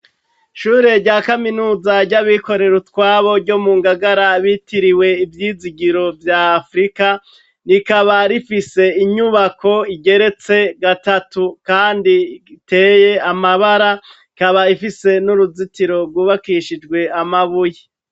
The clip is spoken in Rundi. Ishure rya Kaminuza ry'abikorera utwabo ryo mu Ngagara ryitiriwe "Ivyizigiro vy'Afrika. Rikaba rifise inyubako igeretse gatatu, kandi iteye amabara. Ikaba ifise n'uruzitiro rwubakishijwe amabuye.